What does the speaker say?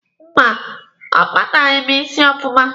Mba, ọ kpataghị m isi ọfụma.